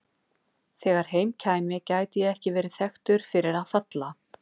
Þegar heim kæmi gæti ég ekki verið þekktur fyrir að falla.